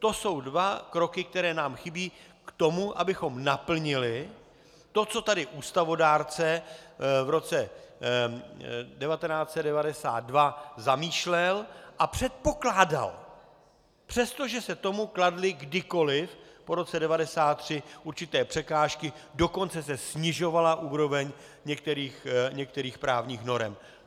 To jsou dva kroky, které nám chybí k tomu, abychom naplnili to, co tady ústavodárce v roce 1992 zamýšlel a předpokládal, přestože se tomu kladly kdykoli po roce 1993 určité překážky, dokonce se snižovala úroveň některých právních norem.